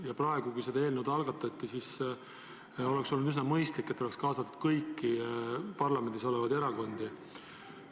Ja praegu, kui see eelnõu algatati, oleks olnud üsna mõistlik, et oleks kaasatud kõiki parlamendis olevaid erakondi.